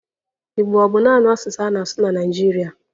Igbo ọ bụ naanị asụsụ a na-asụ na Naịjirịa?